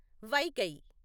Vaigai